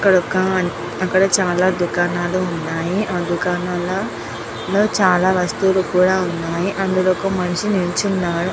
ఇక్కడ చాలా దుకాణాలు ఉన్నాయ్. ఆ దుకాణాల్లో చాల వస్తువుల్లు కూడా వున్నాయ్. అందులో ఒక మనిషి నిలుచున్నాడు.